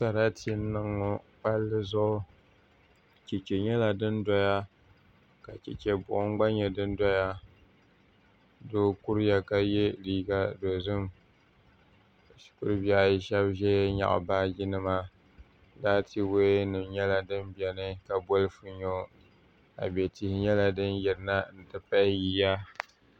Sarati n niŋ ŋo palli zuɣu chɛchɛ nyɛla din doya ka chɛchɛ buɣum gba nyɛ din doya doo kuriya ka yɛ liiga dozim shikuru bihi ayi shab ʒɛya nyaɣa baaji nima ka laati woya nim nyɛ din biɛni ka bolfu nyo abɛ tihi nyɛla din yirina n ti pahi yiya